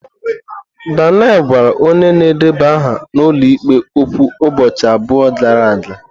Daniel gwara onye na-edeba aha n'ụlọ ikpe okwu ụbọchị abụọ gara aga.